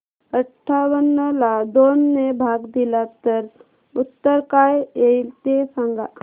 अठावन्न ला दोन ने भाग दिला तर उत्तर काय येईल ते सांगा